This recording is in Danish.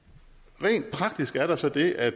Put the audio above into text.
rent praktisk er der så det at